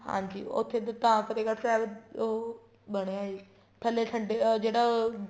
ਹਾਂਜੀ ਉੱਥੇ ਤਾਂ ਫਤਿਹਗੜ੍ਹ ਸਾਹਿਬ ਉਹ ਬਣਿਆ ਏ ਥੱਲੇ ਜਿਹੜਾ ਉਹ